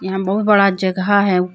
यहां बहुत बड़ा जगह है।